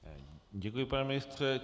Děkuji, pane ministře.